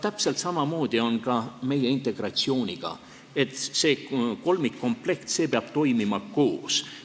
Täpselt samamoodi on ka meie integratsiooniga: see kolmikkomplekt peab toimima koos.